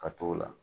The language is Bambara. Ka t'o la